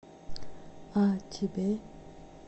а тебе